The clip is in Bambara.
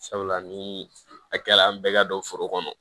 Sabula ni a kɛ la an bɛɛ ka don foro kɔnɔ